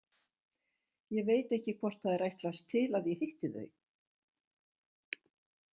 Ég veit ekki hvort það er ætlast til að ég hitti þau.